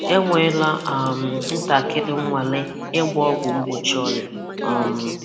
Enweela um ntakịrị nnwale ịgba ọgwụ mgbochi ọrịa um